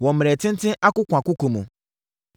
wɔ mmerɛ tenten akokoakoko mu.